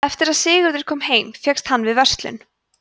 eftir að sigurður kom heim fékkst hann við verslun